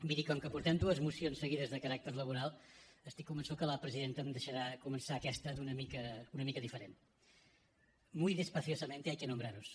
miri com que portem dues mocions seguides de caràcter laboral estic convençut que la presidenta em deixarà començar aquesta una mica diferent muy despaciosamente hay que nombraros